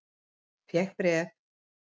Fékk bréf